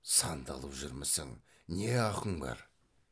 сандалып жүрмісің не ақың бар